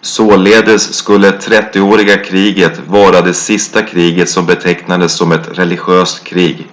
således skulle trettioåriga kriget vara det sista kriget som betecknades som ett religiöst krig